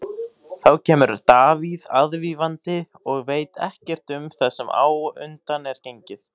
Þá kemur Davíð aðvífandi og veit ekkert um það sem á undan er gengið.